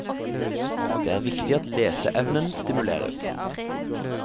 Det er viktig at leseevnen stimuleres.